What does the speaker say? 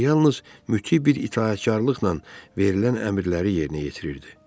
O yalnız müti bir itaətkarlıqla verilən əmrləri yerinə yetirirdi.